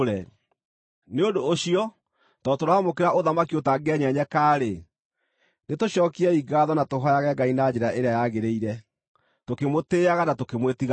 Nĩ ũndũ ũcio tondũ tũramũkĩra ũthamaki ũtangĩenyenyeka-rĩ, nĩtũcookiei ngaatho na tũhooyage Ngai na njĩra ĩrĩa yagĩrĩire, tũkĩmũtĩĩaga na tũkĩmwĩtigagĩra,